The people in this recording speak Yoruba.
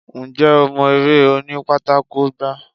Ǹjẹ́ o mọ eré òní pátákó gbá?